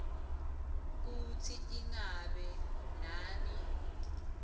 kutsi ingabe nami